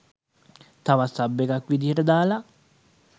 තවත් සබ් එකක් විදියට දාල